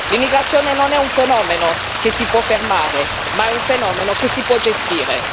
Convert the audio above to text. L'immigrazione non è un fenomeno che si può fermare, ma è un fenomeno che si può gestire.